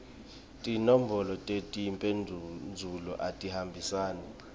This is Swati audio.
tinombolo tetimphendvulo atihambisane